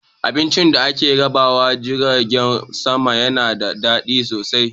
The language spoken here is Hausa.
Abincin da ake rabawa a jiragen sama yana da daɗi sosai